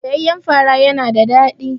Soyayyan fara yana da daɗi.